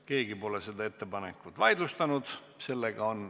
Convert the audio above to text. Keegi pole seda ettepanekut vaidlustanud.